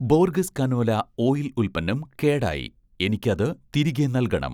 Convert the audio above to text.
Borges canola' oil ഉൽപ്പന്നം കേടായി, എനിക്ക് അത് തിരികെ നൽകണം